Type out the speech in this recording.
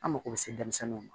An mako bɛ se denmisɛnninw ma